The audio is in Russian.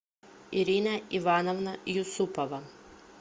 ирина ивановна юсупова